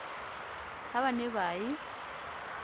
ha ba ne ba ye